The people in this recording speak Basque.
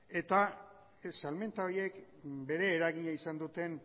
eta salmenta horiek bere eragina izan duten